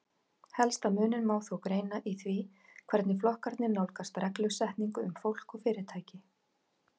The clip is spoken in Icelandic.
Helsta muninn má þó greina í því hvernig flokkarnir nálgast reglusetningu um fólk og fyrirtæki.